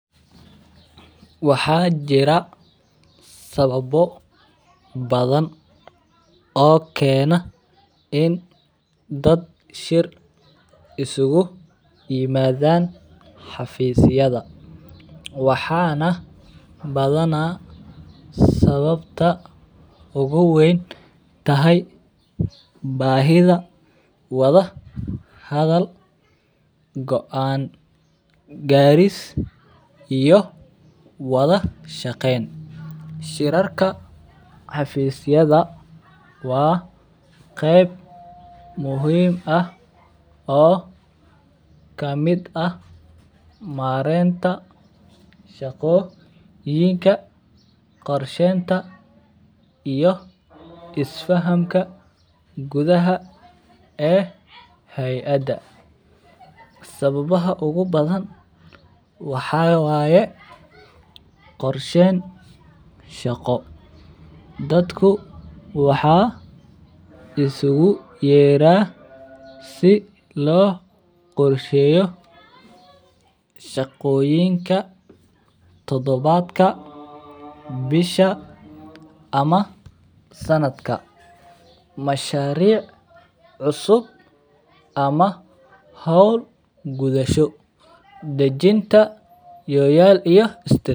Waxaa jira sawabo badan oo kena in ad shir isugu imadhan xafisyaada waxana badana sawabta ugu wentahay bahida wadha hadal goan garis iyo wadha shaqen Shiraka xafisyaada waa miid muhiim ah oo kamiid ah marenta shaqoyinka korshenta iyo isfahanka gudhaha ee hayada sawabaha ugu badan waxaa waye qorshen shaqo dadku waxaa iskugu yera si lo qorsheyo shaqoyinka tadawadka bisha ama sanadka masharic cusub ama hol gudhasho dajinta yoyal iyo istatir.